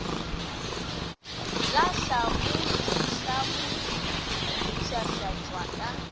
la tlhamoditlhamo di mpshafatšwa ka